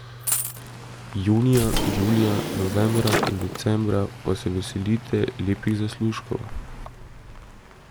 Junija, julija, novembra in decembra pa se veselite lepih zaslužkov.